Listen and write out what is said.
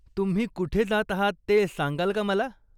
तुम्ही कुठे जात आहात ते सांगाल का मला ?